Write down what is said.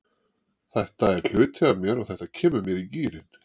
Þetta er hluti af mér og þetta kemur mér í gírinn.